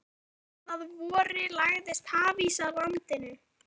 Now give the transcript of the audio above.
Þegar leið að vori lagðist hafís að landinu.